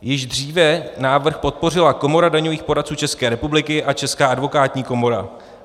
Již dříve návrh podpořila Komora daňových poradců České republiky a Česká advokátní komora.